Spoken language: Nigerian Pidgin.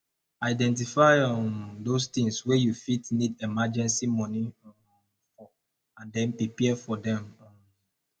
identify um those things wey you fit need emergency money um for and then prepare for them um